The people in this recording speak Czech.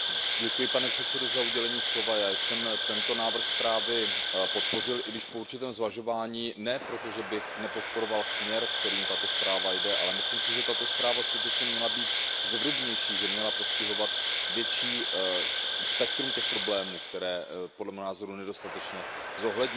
Pane předsedající, já jsem tento návrh zprávy podpořil, i když po určitém zvažování. Ne proto, že bych nepodporoval směr, kterým tato zpráva jde, ale myslím si, že tato zpráva měla být zevrubnější, že měla postihovat větší spektrum problémů, které podle mého názoru nedostatečně zohlednila.